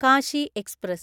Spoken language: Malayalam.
കാശി എക്സ്പ്രസ്